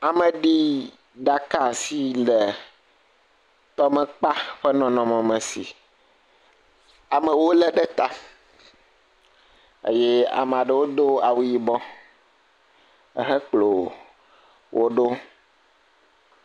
Ameɖiɖaka si le tɔmekpa ƒe nɔnɔme si amewo le ɖe ta eye ama ɖewo do awu yibɔ hekplɔ wo ɖo.